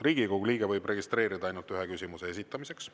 Riigikogu liige võib registreeruda ainult ühe küsimuse esitamiseks.